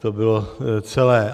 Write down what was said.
To bylo celé.